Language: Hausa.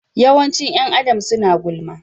Yawancin ’yan Adam suna gulma.